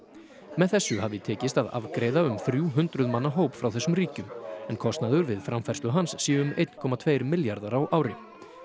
með þessu hafi tekist að afgreiða um þrjú hundruð manna hóp frá þessum ríkjum en kostnaður við framfærslu hans sé um eitt komma tvö milljarðar á ári